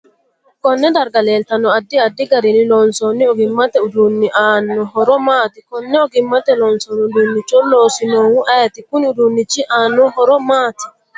Konne darga leeltanno addi. adid garinni loonsooni oggimate uduuni aano horo maati konne oggimate loonsooni uduunicho loosinohu ayiiti kuni uduunichi aano horo maati